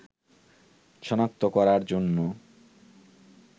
শনাক্ত করার জন্য